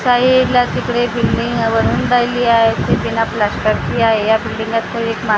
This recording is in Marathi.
साईडला तिकडे बिल्डींग ती बिना प्लास्टरची आहे या बिल्डींगा एक मा--